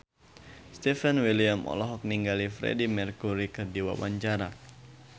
Stefan William olohok ningali Freedie Mercury keur diwawancara